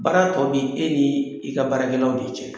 Baara tɔ bi e ni i ka baarakɛlaw de cɛ.